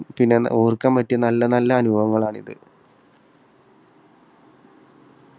പിന്നെ ഓർക്കാൻ പറ്റിയ നല്ല നല്ല അനുഭവങ്ങളാണിത്.